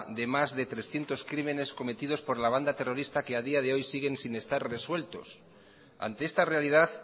de más de trescientos crimines cometidos por la banda terrorista que a día de hoy siguen sin estar resueltos ante esta realidad